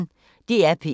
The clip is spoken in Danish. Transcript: DR P1